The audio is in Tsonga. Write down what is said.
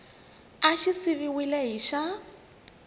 xa xi siviwile hi xa